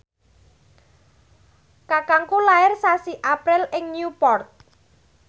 kakangku lair sasi April ing Newport